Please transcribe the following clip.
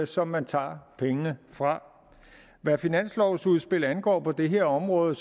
som man tager pengene fra hvad finanslovsudspil angår på det her område